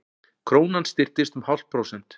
Krónan styrktist um hálft prósent